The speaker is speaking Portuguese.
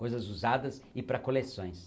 Coisas usadas e para coleções.